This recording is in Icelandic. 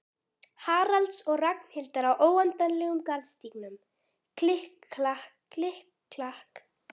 Haralds og Ragnhildar á óendanlegum garðstígnum, klikk-klakk, klikk-klakk.